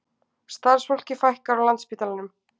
Starfsfólki fækkar á Landspítalanum